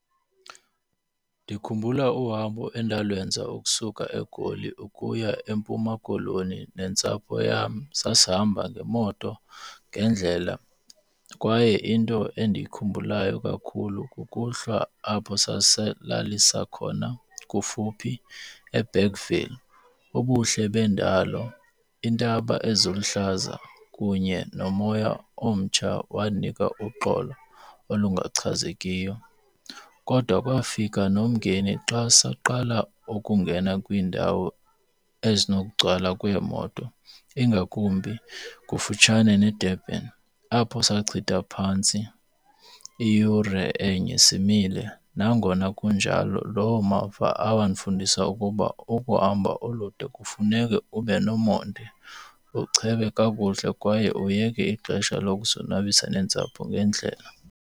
Ndikhumbula uhambo endalwenza ukusuka eGoli ukuya eMpuma Koloni nentsapho yam. Sasihamba ngemoto ngendlela kwaye into endiyikhumbulayo kakhulu kukuhlwa apho sasilalisa khona kufuphi eBergville. Ubuhle bendalo, iintaba eziluhlaza kunye nomoya omtsha wandinika uxolo olungachazekiyo. Kodwa kwafika nomngeni xa saqala ukungena kwiindawo ezinokugcwala kweemoto ingakumbi kufutshane neDurban apho sachitha phantsi iyure enye simile. Nangona kunjalo loo mava andifundisa ukuba ukuhamba olude kufuneke ube nomonde, uchebe kakuhle kwaye uyeke ixesha lokuzonwabisa nentsapho ngendlela.